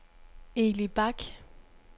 Eli Bach